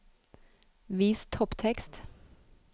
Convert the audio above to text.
Vis topptekst